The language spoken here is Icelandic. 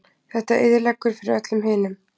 Þetta eyðileggur fyrir öllum hinum